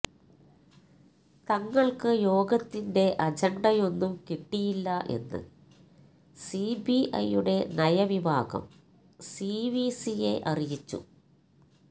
തങ്ങൾക്കു യോഗത്തിന്റെ അജണ്ടയൊന്നും കിട്ടിയില്ല എന്ന് സിബിഐയുടെ നയവിഭാഗം സി വി സിയെ അറിയിച്ചു